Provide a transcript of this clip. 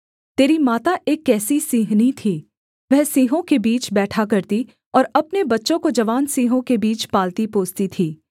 तेरी माता एक कैसी सिंहनी थी वह सिंहों के बीच बैठा करती और अपने बच्चों को जवान सिंहों के बीच पालती पोसती थी